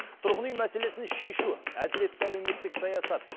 тұрғын үй мәселесін шешу әділетті әлеуметтік саясат